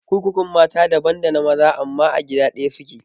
kurkukun mata daban dana maza amma a gida ɗaya suke